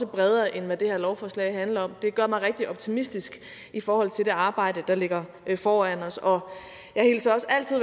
bredere end hvad det her lovforslag handler om det gør mig rigtig optimistisk i forhold til det arbejde der ligger foran os og jeg hilser også altid